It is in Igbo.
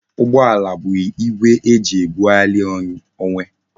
Ụgbọala bụ igwe eji ebughari onwe